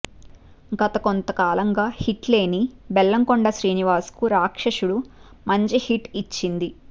గత కొంతకాలంగా హిట్ లేని బెల్లం కొండ శ్రీనివాస్ కు రాక్షసుడు మంచి హిట్ ఇచ్చింది